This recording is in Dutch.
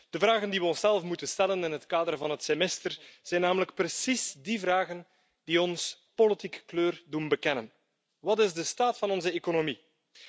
De vragen die we onszelf moeten stellen in het kader van het Semester zijn namelijk precies die vragen die ons politiek kleur doen bekennen Wat is de staat van onze economie?,